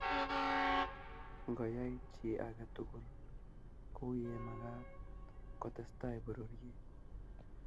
ngo yai chi age tugul kuye magat ko tesetai pororiet.